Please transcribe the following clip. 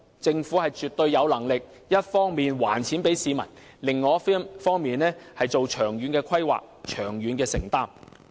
政府絕對有能力一方面還錢給市民，另一方面作出長遠的規劃和承擔。